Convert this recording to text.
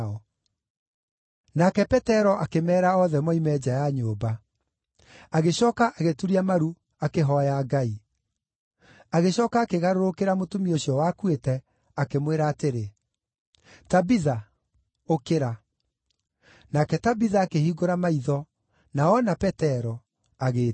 Nake Petero akĩmeera othe moime nja ya nyũmba; agĩcooka agĩturia maru akĩhooya Ngai. Agĩcooka akĩgarũrũkĩra mũtumia ũcio wakuĩte, akĩmwĩra atĩrĩ, “Tabitha, ũkĩra,” nake Tabitha akĩhingũra maitho, na oona Petero, agĩĩtiira.